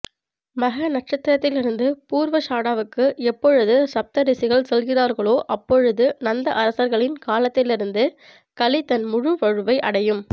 மக நட்சத்திரத்திலிருந்து பூர்வஷாடாவுக்கு எப்பொழுது சப்தரிஷிகள் செல்கிறார்களோ அப்பொழுது நந்த அரசர்களின் காலத்திலிருந்து கலி தன் முழு வலுவை அடையும்